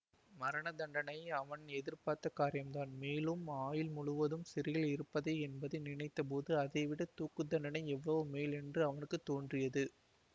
மரணதண்டனை அவன் எதிர்பார்த்த காரியந்தான் மேலும் ஆயுள் முழுவதும் சிறையில் இருப்பது என்பதை நினைத்தபோது அதைவிடத் தூக்கு தண்டனை எவ்வளவோமேல் என்று அவனுக்கு தோன்றியது